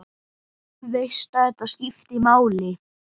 Veist að þetta skiptir máli.